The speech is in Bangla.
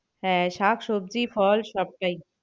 হ্যাঁ শাক সবজি ফল সবটাই।